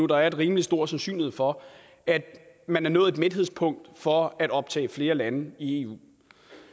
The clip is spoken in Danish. der er en rimelig stor sandsynlighed for man har nået et mætningspunkt for at optage flere lande i eu